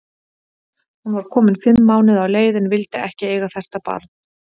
Hún var komin fimm mánuði á leið, en vildi ekki eiga þetta barn.